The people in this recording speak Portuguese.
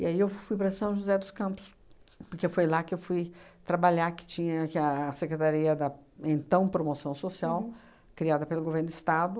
E aí, eu fui para São José dos Campos, porque foi lá que eu fui trabalhar, que tinha que a Secretaria da, então, Promoção Social, criada pelo Governo do Estado,